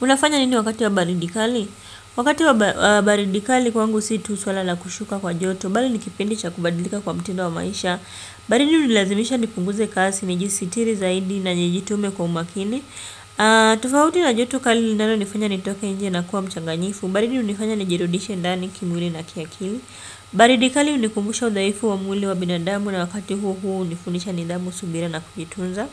Unafanya nini wakati wa baridi kali? Wakati wa baridi kali kwangu si tu swala la kushuka kwa joto. Bali ni kipindi cha kubadilika kwa mtindo wa maisha. Baridi hunilazimisha nipunguze kasi, nijisitiri zaidi na nijitume kwa umakini. Tofauti na joto kali lilanonifanya nitoke nje na kuwa mchanganyifu. Baridi hunifanya nijirudishe ndani kimwili na kiakili. Baridi kali hunilazimisha hunikumbusha udhaifu wa mwili wa binadamu na wakati huo huo hunifundisha nidhamu, subira na kujitunza.